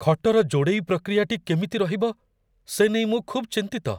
ଖଟର ଯୋଡ଼େଇ ପ୍ରକ୍ରିୟାଟି କେମିତି ରହିବ, ସେ ନେଇ ମୁଁ ଖୁବ୍ ଚିନ୍ତିତ।